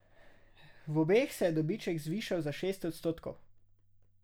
V obeh se je dobiček zvišal za šest odstotkov.